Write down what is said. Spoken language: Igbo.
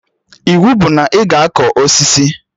Iwu bụ na ị ga akọ osisi!